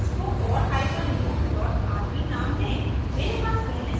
और इसको for hyphen loop dot rb नाम दें